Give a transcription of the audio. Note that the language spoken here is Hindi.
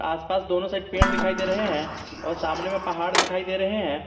आसपास दोनों साइड पेड़ दिखाई दे रहे हैं और सामने में पहाड़ दिखाई दे रहे हैं।